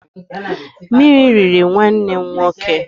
Mmiri riri nwanne nwoke.